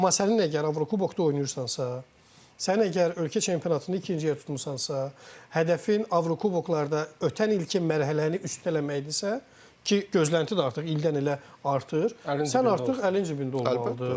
Amma sənin əgər Avrokubokda oynayırsansa, sənin əgər ölkə çempionatında ikinci yer tutmusansa, hədəfin Avrokuboklarda ötənilki mərhələni üstələməkdirsə, ki gözlənti də artıq ildən ilə artır, sən artıq əlin cibində olmalıdır.